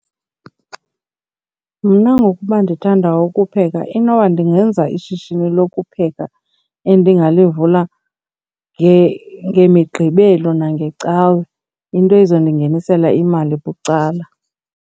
Mna ngokuba ndithanda ukupheka inoba ndingenza ishishini lokupheka endingalivula ngeMiqgibelo nangeCawe, into ezondingehlisela imali bucala.